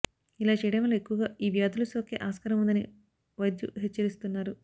ఇలా చేయడం వల్ల ఎక్కువగా ఈ వ్యాధులు సోకే ఆస్కారం ఉందని వైద్యు హెచ్చరిస్తున్నారు